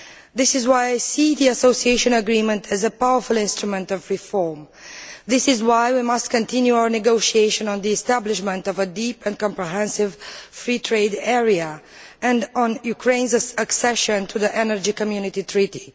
This is why I see the association agreement as a powerful instrument of reform, and it is why we should continue our negotiations on the establishment of a deep and comprehensive free trade area and on Ukraine's accession to the Energy Community Treaty.